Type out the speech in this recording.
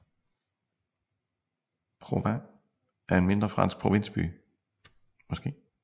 Provins er en mindre fransk provinsby